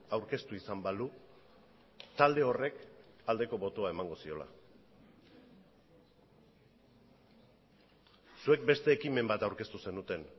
aurkeztu izan balu talde horrek aldeko botoa emango ziola zuek beste ekimen bat aurkeztu zenuten